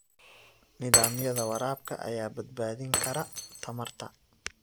Nidaamyada waraabka ayaa badbaadin kara tamarta.